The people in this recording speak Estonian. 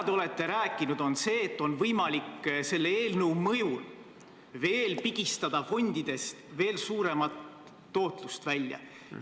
Te olete rääkinud, et selle eelnõu kohaselt on võimalik pigistada fondidest veel suuremat tootlust välja.